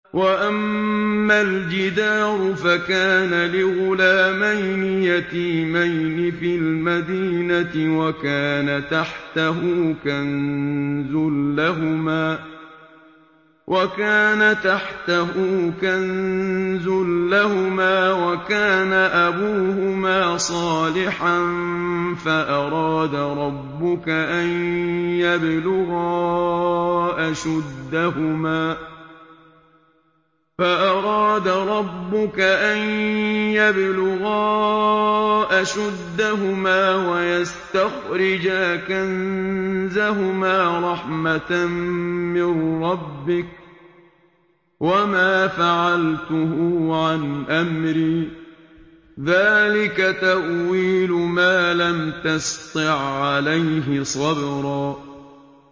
وَأَمَّا الْجِدَارُ فَكَانَ لِغُلَامَيْنِ يَتِيمَيْنِ فِي الْمَدِينَةِ وَكَانَ تَحْتَهُ كَنزٌ لَّهُمَا وَكَانَ أَبُوهُمَا صَالِحًا فَأَرَادَ رَبُّكَ أَن يَبْلُغَا أَشُدَّهُمَا وَيَسْتَخْرِجَا كَنزَهُمَا رَحْمَةً مِّن رَّبِّكَ ۚ وَمَا فَعَلْتُهُ عَنْ أَمْرِي ۚ ذَٰلِكَ تَأْوِيلُ مَا لَمْ تَسْطِع عَّلَيْهِ صَبْرًا